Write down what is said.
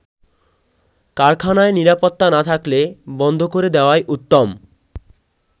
কারখানায় নিরাপত্তা না থাকলে বন্ধ করে দেয়াই উত্তম।